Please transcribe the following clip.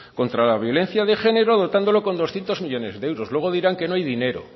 contra la violencia de género dotándolo con doscientos millónes de euros